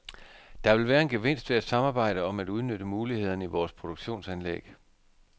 Der vil være en gevinst ved at samarbejde om at udnytte mulighederne i vores produktionsanlæg.